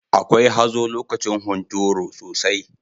Akwai hazo lokacin hunturu sosai.